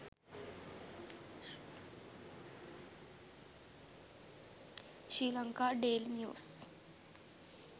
sri lanka daily news